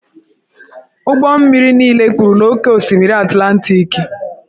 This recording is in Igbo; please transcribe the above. Ụgbọ mmiri niile kpuru n'oké osimiri Atlantiki.